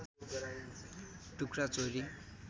टुक्रा चोरी